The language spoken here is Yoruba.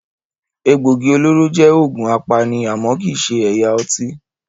Egbògi olóró jẹ́ òògùn apani àmọ́ kii ṣe ẹ̀yà ọtí.